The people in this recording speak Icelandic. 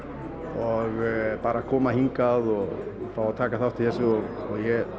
og bara að koma hingað og fá að taka þátt í þessu og